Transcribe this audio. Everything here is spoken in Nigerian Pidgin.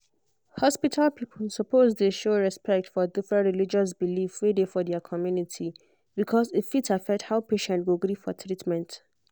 hospital people suppose dey show respect for different religious belief wey dey for di community because e fit affect how patient go gree for treatment.